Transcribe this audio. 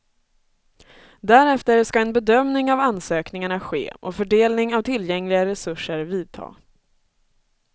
Därefter ska en bedömning av ansökningarna ske och fördelning av tillgängliga resurser vidta.